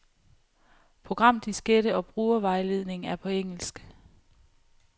Programdiskette og brugervejledning er på engelsk.